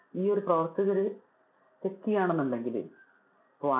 ഈ ഒരു പ്രവർത്തകര് check ചെയുവാണെന്നുണ്ടെങ്കില്. ഇപ്പൊ